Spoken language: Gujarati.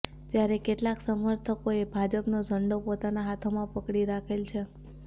ત્યારે કેટલાંક સમર્થકોએ ભાજપનો ઝંડો પોતાનાં હાથોમાં પકડી રાખેલ છે